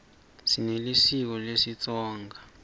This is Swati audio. sinelisiko lesitsonga